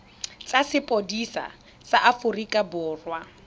tsa sepodisi sa aforika borwa